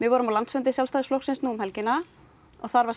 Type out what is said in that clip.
vorum á landsfundi nú um helgina og þar var